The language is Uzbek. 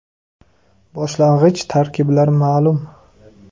Boshlang‘ich tarkiblar ma’lum.